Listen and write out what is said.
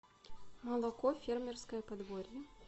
молоко фермерское подворье